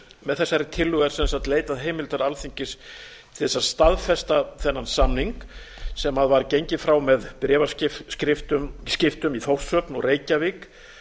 með þessari tillögu er sem sagt leitað heimildar alþingis til þess að staðfesta þennan samning sem var gengið frá með bréfaskiptum í þórshöfn og reykjavík